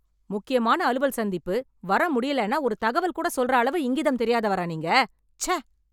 முக்கியமான அலுவல் சந்திப்பு, வர முடியலேன்னா ஒரு தகவல் கூட சொல்ற அளவு இங்கிதம் தெரியாதவரா நீங்க. சே!